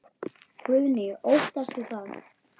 Guðný: Óttastu það?